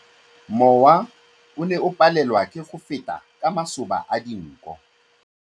Mowa o ne o palelwa ke go feta ka masoba a dinko.